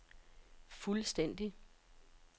fuldstændig